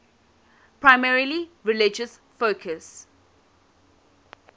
primarily religious focus